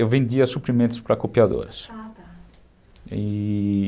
Eu vendia suprimentos para copiadoras. Ata. E...